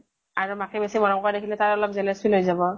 আৰু মাকে বেছি মৰম কৰা দেখিলে তাৰ অলপ jealous feel হৈ যাব ।